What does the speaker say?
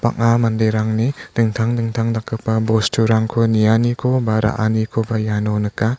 bang·a manderangni dingtang dingtang dakgipa bosturangko nianiko ba ra·anikoba iano nika.